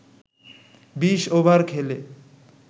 ২০ over খেলে